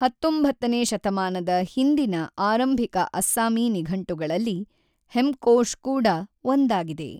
ಹತೊಂಬತ್ತನೇ ಶತಮಾನದ ಹಿಂದಿನ ಆರಂಭಿಕ ಅಸ್ಸಾಮಿ ನಿಘಂಟುಗಳಲ್ಲಿ ಹೆಮ್ಕೋಷ್ ಕೂಡ ಒಂದಾಗಿದೆ.